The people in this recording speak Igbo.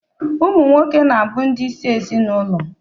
Ụmụ nwoke na-abụ ndị isi ezinụlọ.